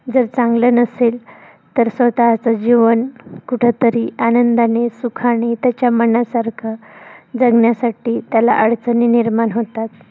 जर, चांगलं नसेल तर, स्वतःच जीवन कुठंतरी आनंदानी सुखानी त्याच्या मनासारखं जगण्यासाठी त्याला अडचणी निर्माण होतात.